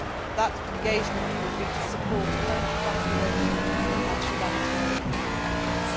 engagement that engagement would be to support current evacuation and humanitarian